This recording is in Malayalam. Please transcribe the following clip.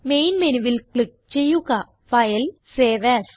മെയിൻ മെനുവിൽ ക്ലിക്ക് ചെയ്യുക ഫൈൽ സേവ് എഎസ്